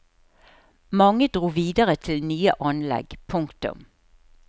Mange dro videre til nye anlegg. punktum